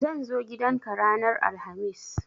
Zan zo gidan ka ranar alhamis